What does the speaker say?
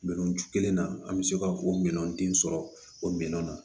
Minɛnci kelen na an bɛ se ka o minɛn denw sɔrɔ o minɛn na